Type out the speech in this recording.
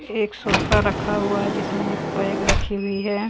एक सोफा रखा हुआ है जिसमें एक बैग राखी हुई है।